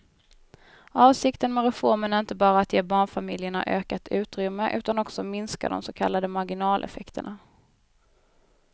Avsikten med reformen är inte bara att ge barnfamiljerna ökat utrymme utan också minska de så kallade marginaleffekterna.